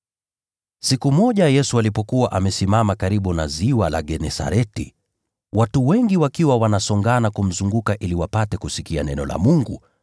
Siku moja Yesu alipokuwa amesimama karibu na Ziwa la Genesareti, watu wengi wakiwa wanasongana kumzunguka ili wapate kusikia neno la Mungu,